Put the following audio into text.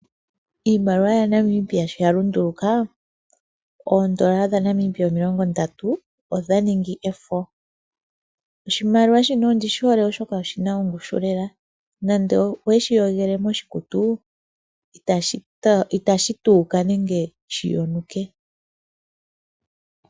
Iimaliwa yaNamibia sho ya lunduluka oondoola dha Namibia omilong ndatu odha ningi efo. Osimaliwa shika ondishihole oshoka oshina ongushu lela, nande oweshi yogele moshikutu itashi tuuka nenge shi yonuke.